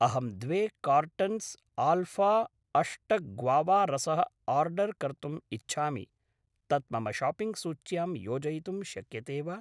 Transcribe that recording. अहं द्वे cartons alpha अष्ट ग्वावा रसः आर्डर् कर्तुम् इच्छामि, तत् मम शाप्पिङ्ग् सूच्यां योजयितुं शक्यते वा?